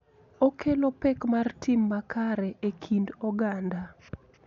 Okelo pek mar tim makare e kind oganda.